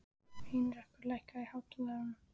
Heinrekur, lækkaðu í hátalaranum.